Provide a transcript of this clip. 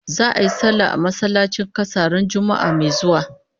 Za'a yi sallah a masallacin kasa ran Juma'ah mai zuwa